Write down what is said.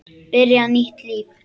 Byrja nýtt líf.